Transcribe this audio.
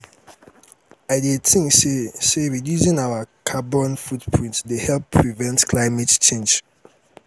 i dey think say say reducing our carbon footprint dey help prevent climate change.